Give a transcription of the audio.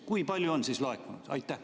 Kui palju on laekunud?